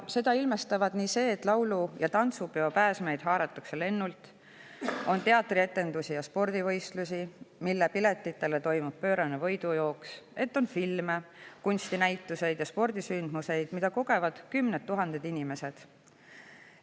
Seda ilmestavad nii see, et laulu‑ ja tantsupeopääsmeid haaratakse lennult, et on teatrietendusi ja spordivõistlusi, kuhu pileti saamiseks toimub pöörane võidujooks, ning et on filme, kunstinäitusi ja spordisündmusi, mida kogevad kümned tuhanded inimesed.